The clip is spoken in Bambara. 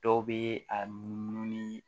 Dɔw bɛ a numu ni